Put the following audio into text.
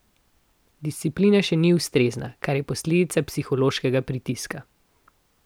Disciplina še ni ustrezna, kar je posledica psihološkega pritiska.